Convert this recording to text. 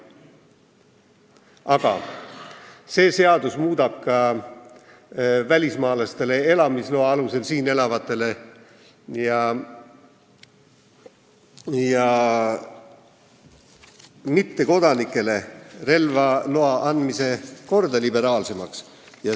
Aga see seadus muudab ka välismaalastele, elamisloa alusel siin elavatele inimestele ja mittekodanikele relvaloa andmise korra liberaalsemaks.